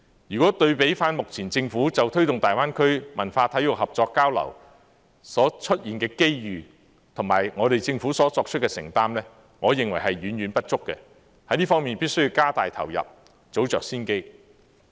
如果對比目前就推動大灣區文化體育合作交流所出現的機遇，我認為我們政府所作出的承擔遠遠不足，在這方面必須加大投入，早着先機。